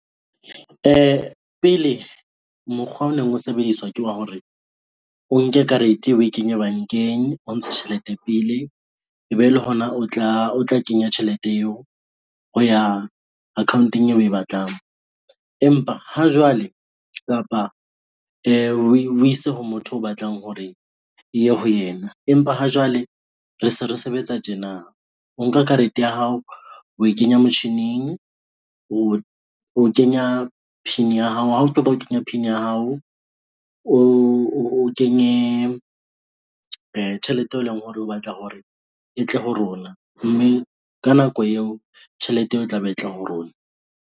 Pele mokgwa o neng o sebediswa ke wa hore, o nke karete eo ww kenye bankeng, o ntshe tjhelete pele, ebe le hona o tla kenya tjhelete eo ho ya account-eng yeo we batlang kapa we ise ha motho o batlang hore e ye ho yena. Empa ha jwale re se re sebetsa tjena, o nka karete ya hao we kenya motjhining, o kenya PIN ya hao, ha o kenya PIN ya hao, o kenye tjhelete eo e leng hore o batla hore e tle ho rona mme ka nako eo tjhelete eo e tla be e tla ho rona.